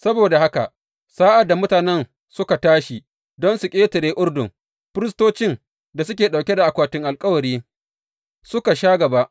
Saboda haka sa’ad da mutanen suka tashi don su ƙetare Urdun, firistocin da suke ɗauke da akwatin alkawarin suka sha gaba.